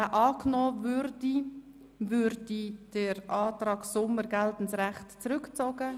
Würde er angenommen, würde der Antrag Sommer zurückgezogen.